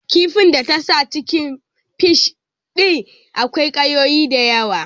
Kifin ta tasa cikin fishfai din akwai ƙayoyi da yawa